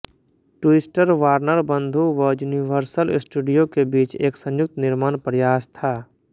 twister Warner बंधु व Universal Studio के बीच एक संयुक्त निर्माण प्रयास था